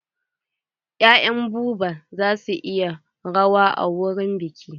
Ya'yan Buba za suyi rawa a wurin biƙin.